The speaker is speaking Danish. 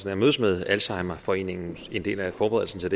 at mødes med alzheimerforeningen som en del af forberedelsen til